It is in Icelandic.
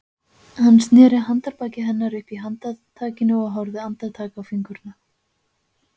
Hann sneri handarbaki hennar upp í handtakinu og horfði andartak á fingurna.